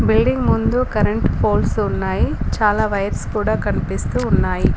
Building ముందు current poles ఉన్నాయి చాలా వైర్స్ కూడా కనిపిస్తూ ఉన్నాయి.